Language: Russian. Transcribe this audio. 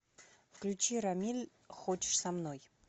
включи рамиль хочешь со мной